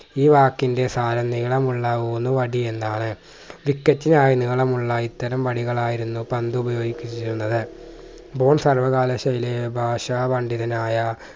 ഈ വാക്കിന്റെ സാരം നീളമുള്ള ഊന്നുവടി എന്നാണ് wicket നായി നീളമുള്ള ഇത്തരം വടികളായിരുന്നു പണ്ട് ഉപയോഗിച്ചിരുന്നത് സർവകാലയിലെ ഭാഷാ പണ്ഡിതനായ